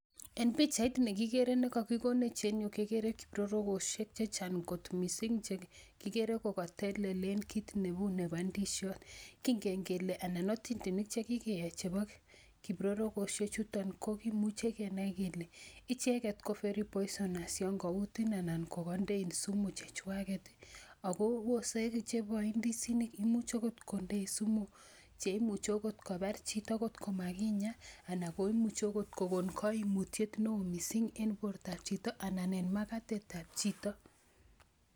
En pichait ne kigere ne kakikonech en yu kegere kiprorogosiek chechang kot mising che kigere kokatelelen kit neu nebo ndisiot. Kingen kele, anan atindonik che kigeyai chebo kiprorogosiek chuto ko kimuchi kegenai kele icheget ko very poisonus yon kautin anan kogandein sumu chechwaget, ago ose chebo indisinik, imuch agot kondein sumu che imuchi agot kopar chito ngot komaginya ana komuchi agot kogon kaimutiet neo mising eng bortoab chito anan ko en magatetab chito.